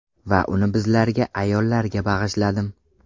Va uni bizlarga, ayollarga bag‘ishladim!